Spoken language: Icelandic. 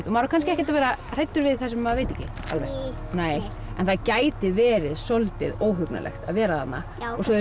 maður á kannski ekkert að vera hræddur við það sem maður veit ekki alveg en það gæti verið soldið óhugnanlegt að vera þarna